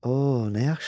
O, nə yaxşı.